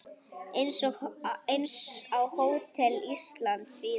Eins á Hótel Íslandi síðar.